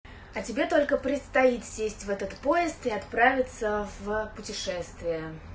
а тебе только предстоит сесть в этот поезд и отправиться в путешествие